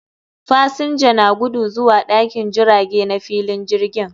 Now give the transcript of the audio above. Fasinja na gudu zuwa dakin jirage na filin jirgin